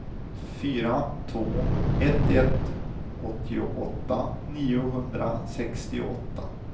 fyra två ett ett åttioåtta niohundrasextioåtta